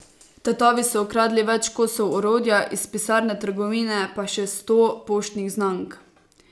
Tatovi so ukradli več kosov orodja, iz pisarne trgovine pa še sto poštnih znamk.